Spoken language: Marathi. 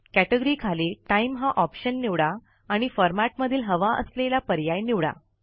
कॅटेगरी खाली टाईम हा ऑप्शन निवडा आणि फॉरमॅटमधील हवा असलेला पर्याय निवडा